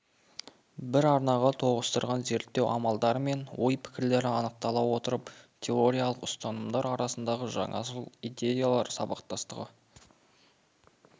бір арнаға тоғыстырған зерттеу амалдары мен ой-пікірлері анықтала отырып теориялық ұстанымдар арасындағы жаңашыл идеялар сабақтастығы